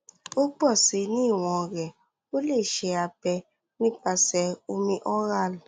o pọ si ni iwọn rẹ o le ṣe abẹ nipasẹ omi oral